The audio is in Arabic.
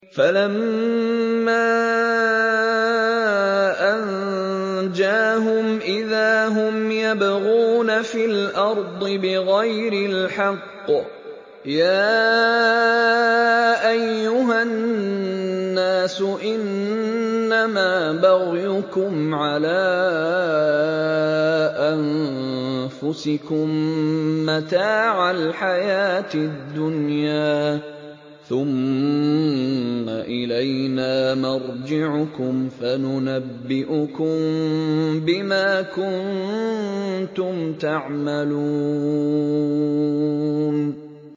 فَلَمَّا أَنجَاهُمْ إِذَا هُمْ يَبْغُونَ فِي الْأَرْضِ بِغَيْرِ الْحَقِّ ۗ يَا أَيُّهَا النَّاسُ إِنَّمَا بَغْيُكُمْ عَلَىٰ أَنفُسِكُم ۖ مَّتَاعَ الْحَيَاةِ الدُّنْيَا ۖ ثُمَّ إِلَيْنَا مَرْجِعُكُمْ فَنُنَبِّئُكُم بِمَا كُنتُمْ تَعْمَلُونَ